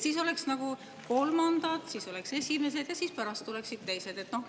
Siis oleksid kõigepealt kolmandad, seejärel esimesed ja siis oleksid teised.